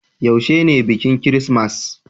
yaushe ne bikin kirismas?